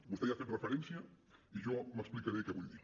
vostè hi ha fet referència i jo explicaré què vull dir